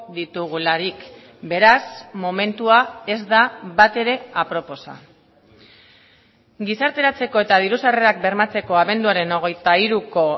ditugularik beraz momentua ez da batere aproposa gizarteratzeko eta diru sarrerak bermatzeko abenduaren hogeita hiruko